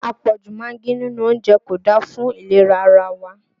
Àpọ̀jù magí nínú oúnjẹ kò da fún ìlera ara wa